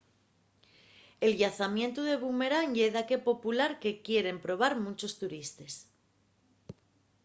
el llanzamientu de bumerán ye daqué popular que quieren probar munchos turistes